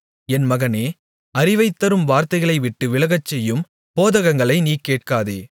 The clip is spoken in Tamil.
என் மகனே அறிவைத் தரும் வார்த்தைகளைவிட்டு விலகச்செய்யும் போதகங்களை நீ கேட்காதே